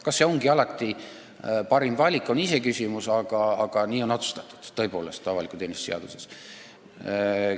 Kas see on alati parim valik, on iseküsimus, aga nii on tõepoolest avaliku teenistuse seaduses otsustatud.